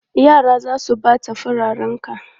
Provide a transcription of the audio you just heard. Yara za su ɓata fararenka!